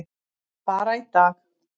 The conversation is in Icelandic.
Bara í dag.